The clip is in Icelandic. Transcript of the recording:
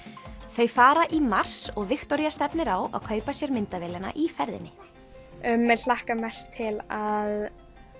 þau fara í mars og Viktoría stefnir á að kaupa sér myndavélina í ferðinni mig hlakkar mest til að